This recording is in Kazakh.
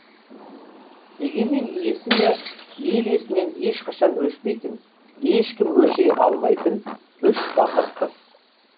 дегенмен есімі ел есінен ешқашан өшпейтін ешкім өшіре алмайтын үш батыр қыз бар